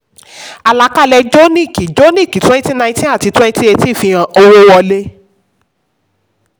àlàkalẹ̀ jonick jonick twenty nineteen àti twenty eighteen fi hàn owó wọlé.